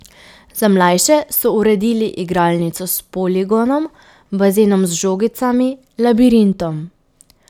Za mlajše so uredili igralnico s poligonom, bazenom z žogicami, labirintom ...